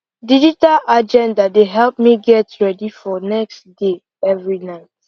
digital agenda dey help me get ready for next day every night